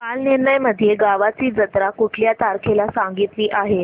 कालनिर्णय मध्ये गावाची जत्रा कुठल्या तारखेला सांगितली आहे